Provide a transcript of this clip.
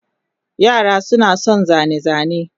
Yara suna son zane-zane.